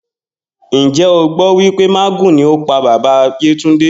Njé o gbó wípé mágùn ni ó pa bàbá Yétúndé